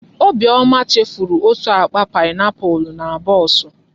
Obiọma chefuru otú akpa paịnapụlụ na bọọsụ.